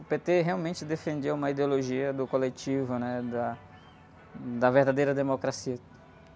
O pê-tê realmente defendia uma ideologia do coletivo, né Da, da verdadeira democracia.